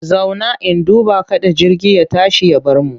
Zauna! in duba kada jirgi ya tashi ya bar mu.